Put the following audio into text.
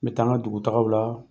N bɛ taa n ka dugutagaw la